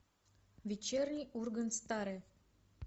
вечерний ургант старое